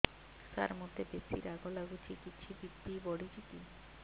ସାର ମୋତେ ବେସି ରାଗ ଲାଗୁଚି କିଛି ବି.ପି ବଢ଼ିଚି କି